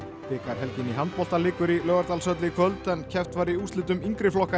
bikarhelginni í handbolta lýkur í Laugardalshöll í kvöld en keppt var í úrslitum yngri flokka í